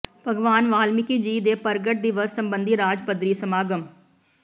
ਭਗਵਾਨ ਵਾਲਮੀਕੀ ਜੀ ਦੇ ਪ੍ਰਗਟ ਦਿਵਸ ਸੰਬੰਧੀ ਰਾਜ ਪੱਧਰੀ ਸਮਾਗਮ